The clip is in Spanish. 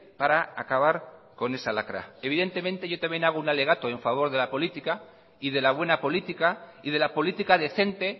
para acabar con esa lacra evidentemente yo también hago un alegato en favor de la política y de la buena política y de la política decente